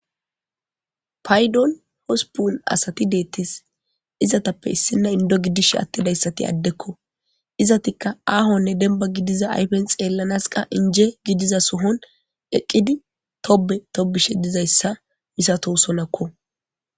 paydon hospun asati deettis izatappe issinna indo gidish attidayssati addekko izatikka aahonne denba gidiza aypen xeellanas qa inje gidiza sohon eqqidi tobe tobishe dizayssa misatohsolakko